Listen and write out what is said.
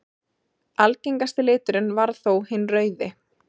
Algengasti liturinn varð þó hinn rauði.